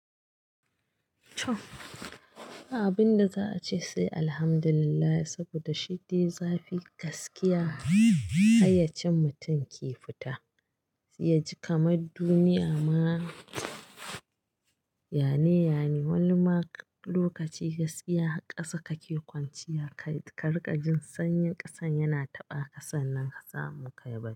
Abin da za a ce sai Alhamdulillah saboda shidde zafi gaskiya hayyacien mutum ke fita. Ya ji kamar duniya ma, Yane, Yane wani ma lokaci gaskiya kasa kake kwanciya ka rika jin sanyin kasan yana taɓa kasan nan kasa muka yi bacci.